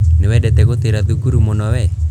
Nĩwendete gũtĩra thukuru muno wee.